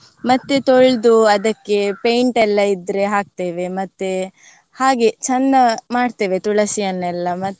ಮತ್ತೆ ತೋಳ್ದು ಅದಕ್ಕೆ paint ಎಲ್ಲಾ ಇದ್ರೆ ಹಾಕ್ತೇವೆ ಮತ್ತೆ ಹಾಗೆ ಚಂದ ಮಾಡ್ತೇವೆ ತುಳಸಿಯನ್ನೆಲ್ಲ.